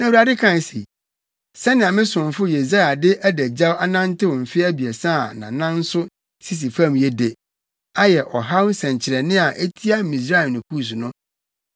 Na Awurade kae se, “Sɛnea me somfo Yesaia de adagyaw anantew mfe abiɛsa a nʼanan nso sisi fam yi de, ayɛ ɔhaw nsɛnkyerɛnne a etia Misraim ne Kus no,